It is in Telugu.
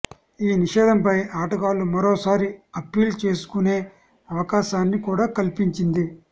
ఈ నిషేధంపై ఆటగాళ్లు మరోసారి అప్పీల్ చేసుకునే అవకాశాన్ని కూడా కల్పించింది